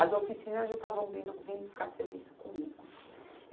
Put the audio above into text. As oficinas já estavam vindo vim buscar serviço comigo.